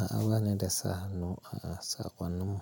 A a wane da sahanu a a saƙon mu,